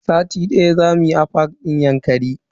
Sati daya zamu yi a fak din Yankari.